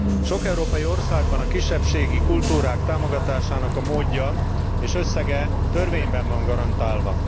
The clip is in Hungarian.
Sok európai országban a kisebbségi kultúrák támogatásának módja és összege törvényben van garantálva.